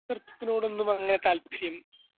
സ്ക്രിപ്റ്റിനോടൊന്നും അങ്ങനെ താല്പര്യം